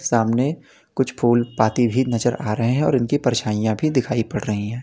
सामने कुछ फूल पाती भी नजर आ रहे हैं और उनकी परछाइयां भी दिखाई पड़ रही है।